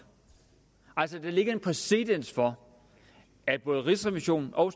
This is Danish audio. altså der ligger en præcedens for at både rigsrevisionen og